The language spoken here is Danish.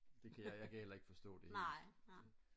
det kan jeg jeg kan heller ikke forstå det helt